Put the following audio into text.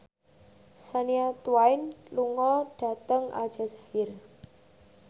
Shania Twain lunga dhateng Aljazair